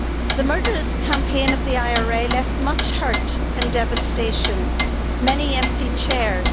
The murderous campaign of the IRA left much hurt and devastation, many empty chairs.